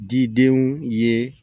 Didenw ye